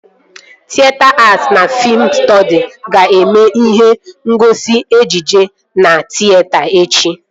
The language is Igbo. Tịyeta att na fiim stọdis ga-eme ihe ngosi ejije na tịyeta echi